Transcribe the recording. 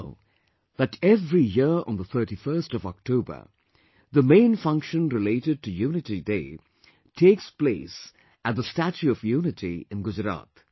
We know that every year on the 31st of October, the main function related to Unity Day takes place at the Statue of Unity in Gujarat